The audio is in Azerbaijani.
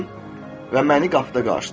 və məni qapıda qarşıladı.